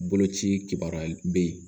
Boloci kibaruya bɛ yen